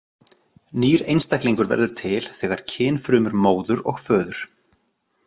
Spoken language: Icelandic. Nýr einstaklingur verður til þegar kynfrumur móður og föður.